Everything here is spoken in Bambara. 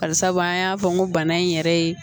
Bari sabu an y'a fɔ n ko bana in yɛrɛ ye